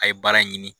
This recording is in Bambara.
A ye baara in ɲini